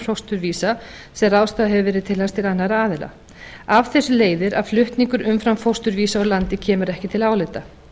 ráðstafað hefur verið til hans til annarra aðila af þessu leiðir að flutningur umframfósturvísa úr landi kemur ekki til álita